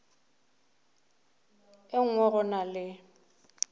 e nngwe go na le